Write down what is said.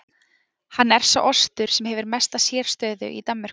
Hann er sá ostur sem hefur mesta sérstöðu í Danmörku.